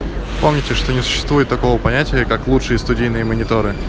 помните что не существует такого понятия как лучшие студийные мониторы